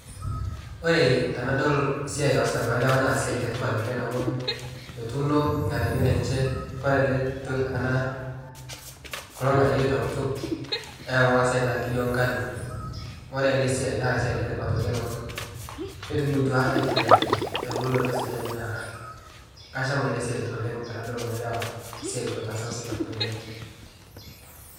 Ore tenadol siai naasita kulo lewa naa siai letipat oleng amu etuuno lganayio lenche ,ore kulo nganayio tenkutuk olmalai naa enkijo enkano. Ore ele siai naa esiai letipat oleng amu ketubulutua aitobiraki tembulunoto sidai naa kasham ele siai otaasa kulo lewa siai supat oleng.